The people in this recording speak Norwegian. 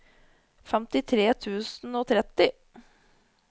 femtitre tusen og tretti